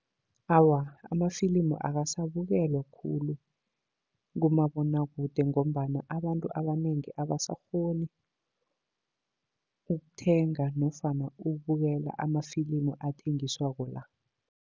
Awa, amafilimu akasabukelwa khulu kumabonwakude, ngombana abantu abanengi abasakghoni ukuthenga nofana ukubukela amafilimu athengiswako la.